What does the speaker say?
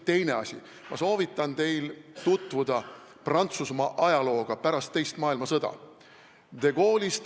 Teine asi, ma soovitan teil tutvuda Prantsusmaa ajalooga pärast teist maailmasõda.